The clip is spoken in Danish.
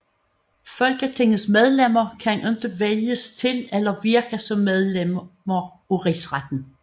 Folketingets medlemmer kan ikke vælges til eller virke som medlemmer af Rigsretten